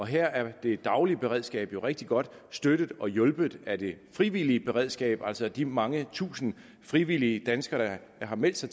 her er det daglige beredskab jo rigtig godt støttet og hjulpet af det frivillige beredskab altså de mange tusinde frivillige danskere der har meldt sig